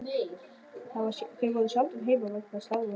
Þau voru sjaldan heima vegna starfa sinna.